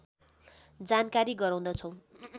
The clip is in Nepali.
जानकारी गराउँदछौँ